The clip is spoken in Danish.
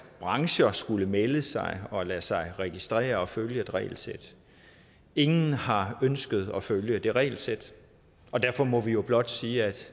brancher skulle melde sig og lade sig registrere og følge et regelsæt ingen har ønsket at følge det regelsæt og derfor må vi jo blot sige at